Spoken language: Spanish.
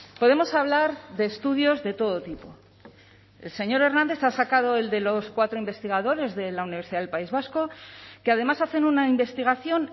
podemos hablar de estudios de todo tipo el señor hernández ha sacado el de los cuatro investigadores de la universidad del país vasco que además hacen una investigación